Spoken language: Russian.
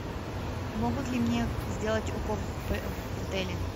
могут ли мне сделать укол в отеле